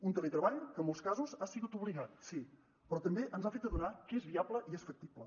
un teletreball que en molts casos ha sigut obligat sí però també ens ha fet adonar que és viable i és factible